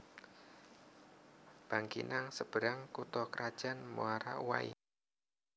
Bangkinang Seberang kutha krajan Muara Uwai